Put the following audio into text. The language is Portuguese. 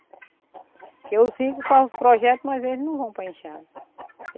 Porque eu sigo com os projetos, mas eles não vão para a enxada.